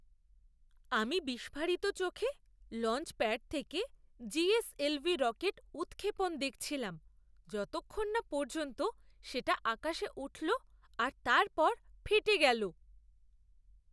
আমি বিস্ফারিত চোখে লঞ্চপ্যাড থেকে জিএসএলভি রকেট উৎক্ষেপণ দেখছিলাম, যতক্ষণ না পর্যন্ত সেটা আকাশে উঠল আর তারপর ফেটে গেলো।